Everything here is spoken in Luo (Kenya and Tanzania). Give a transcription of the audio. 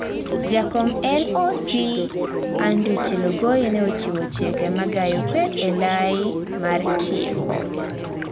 Jakom LOC, Andrew Chelogoi ne ochiwo chike magayo kweth ee lai mar tieko